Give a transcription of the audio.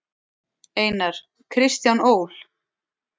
Einar: Kristján Ól.